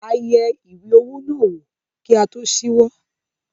A yẹ ìwé owó náà wò kí a tó ṣíwọ́.